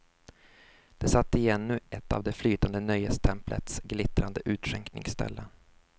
De satt i ännu ett av det flytande nöjestemplets glittrande utskänkningsställen.